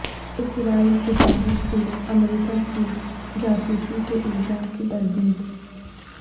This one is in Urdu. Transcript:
اسرائیل کی جانب سے امریکہ کی جاسوسی کے الزام کی تردید